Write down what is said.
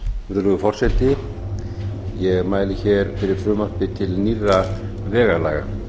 virðulegi forseti ég mæli hér fyrir frumvarpi til nýrra vegalaga